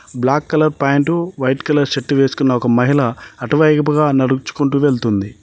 Black colour point white colour shirt వేసుకున్న ఒక మహిళ అటువైపుగా నడుచుకుంటూ వెళ్తుంది.